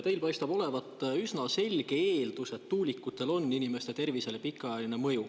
Te paistate üsna kindlalt eeldavat, et tuulikutel on inimeste tervisele pikaajaline mõju.